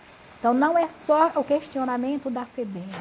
Então, não é só o questionamento da FEBEM.